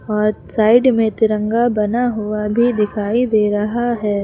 और साइड में तिरंगा बना हुआ भी दिखाई दे रहा है।